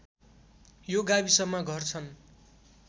यो गाविसमा घर छन्